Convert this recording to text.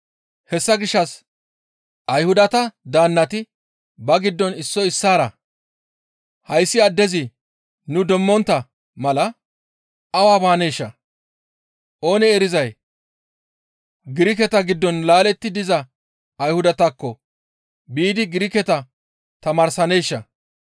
Hessa gishshas Ayhudata daannati ba giddon issoy issaara, «Hayssi addezi nu demmontta mala awa baaneesha? Oonee erizay Giriketa giddon laaletti diza Ayhudatakko biidi Giriketa tamaarsaneeshaa?